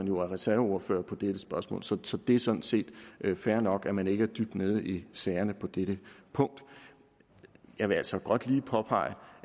jo er reserveordfører på dette spørgsmål så så det er sådan set fair nok at man ikke er dybt nede i sagerne på dette punkt jeg vil altså godt lige påpege